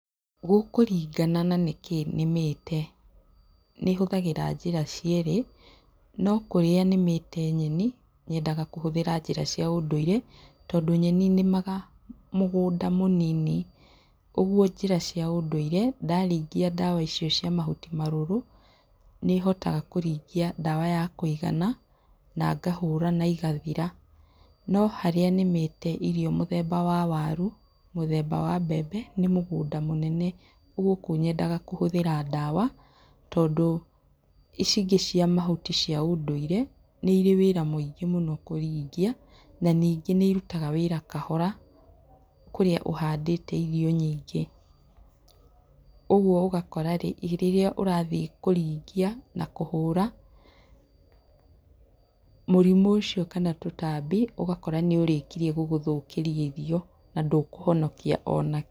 Gũkũringana na nĩkĩĩ nĩmĩte. Nĩ hũthagĩra njĩra cierĩ, no kũrĩa nĩmĩte nyeni, nyendaga kũhũthĩra njĩra cia ũndũire, tondũ nyeni nĩmaga mũgũnda mũnini. Ũguo njĩra cia ũndũire, ndaringia ndawa icio cia mahuti marũrũ, nĩ hotaga kũringia ndawa ya kũigana, na ngahũra, na igathira. No harĩa nĩmĩte irio mũthemba wa waru, mũthemba wa mbembe, nĩ mũgũnda mũnene. Rĩu gũkũ nyendaga kũhũthĩra ndawa. Tondũ, ici ingĩ cia mahuti cia ũndũire, nĩ irĩ wĩra mũingĩ mũno kũringia, na ningĩ nĩ irutaga wĩra kahora, kũrĩa ũhandĩte irio nyingĩ. Ũguo ũgakora rĩrĩa ũrathiĩ kũringia na kũhũra, mũrimũ ũcio kana tũtambi, ũgakora nĩ ũrĩkirie gũgũthũkĩria irio, na ndũkũhonokia ona kĩ.